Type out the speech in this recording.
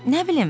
Nə bilim,